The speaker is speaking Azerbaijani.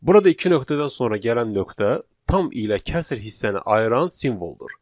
Burada iki nöqtədən sonra gələn nöqtə tam ilə kəsr hissəni ayıran simvoldur.